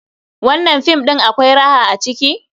Wannan film ɗin akwai raha a ciki?